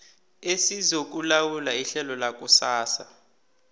esizokulawula ihlelo lakusasa